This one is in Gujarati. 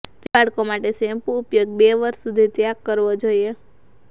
તે બાળકો માટે શેમ્પૂ ઉપયોગ બે વર્ષ સુધી ત્યાગ કરવો જોઈએ